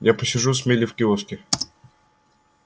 я посижу с мелли в киоске